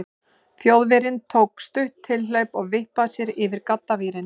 Þjóðverjinn tók stutt tilhlaup og vippaði sér yfir gaddavírinn.